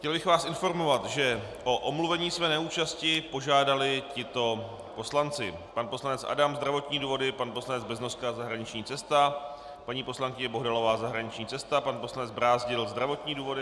Chtěl bych vás informovat, že o omluvení své neúčasti požádali tito poslanci: pan poslanec Adam - zdravotní důvody, pan poslanec Beznoska - zahraniční cesta, paní poslankyně Bohdalová - zahraniční cesta, pan poslanec Brázdil - zdravotní důvody.